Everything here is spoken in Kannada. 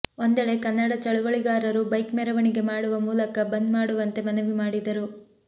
ಒಂದೆಡೆ ಕನ್ನಡ ಚಳವಳಿಗಾರರು ಬೈಕ್ ಮೆರವಣಿಗೆ ಮಾಡುವ ಮೂಲಕ ಬಂದ್ ಮಾಡುವಂತೆ ಮನವಿ ಮಾಡಿದರು